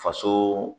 Faso